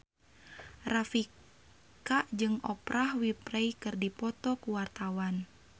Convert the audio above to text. Rika Rafika jeung Oprah Winfrey keur dipoto ku wartawan